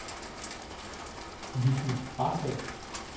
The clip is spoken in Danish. Lissy Rahbek